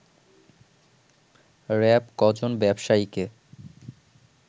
RAB ক'জন ব্যবসায়ীকে